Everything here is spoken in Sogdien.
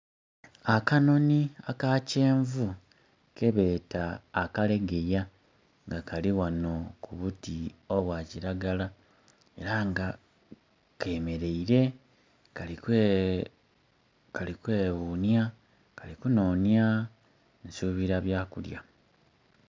Akanonhi aka kyenvu kebeeta akalegeya nga kali ghano ku buti obwa kiragala era nga kemeleire kali kwe ghunya kali kunonya nsubira bya kulya.